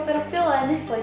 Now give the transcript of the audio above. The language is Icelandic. verið að bjóða upp á